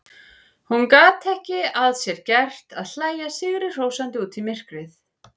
Hún gat ekki að sér gert að hlæja sigrihrósandi út í myrkrið.